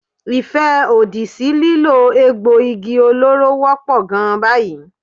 Ìfẹ́ òdì sí lílo egbò igi olóró wọ́pọ̀ gan báyìí.